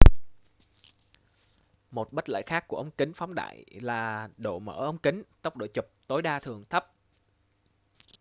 một bất lợi khác của ống kính phóng đại là độ mở ống kính tốc độ chụp tối đa thường thấp